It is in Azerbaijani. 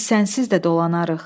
Biz sənsiz də dolanarıq.